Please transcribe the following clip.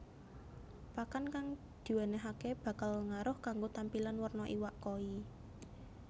Pakan kang diwènèhaké bakal ngaruh kanggo tampilan werna iwak koi